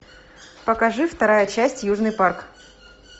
покажи вторая часть южный парк